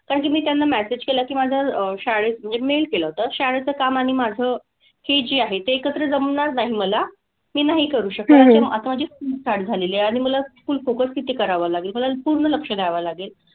कारण की मी त्यांना message केलं की माझं अह शाळेत म्हणजे mail केलं होतं शाळेचं काम आणि माझं हे जे आहे ते एकत्र जमणार नाही मला. मी नाही करू शकत आता माझी आता माझी school start झालेली आहे आणि मला school वरती focus करावा लागेल. मला पूर्ण लक्ष द्यावं लागेल.